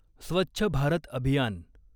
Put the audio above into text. स्वच्छ भारत अभियान